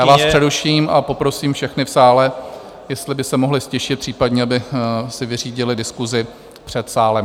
Já vás přeruším a poprosím všechny v sále, jestli by se mohli ztišit, případně aby si vyřídili diskusi před sálem.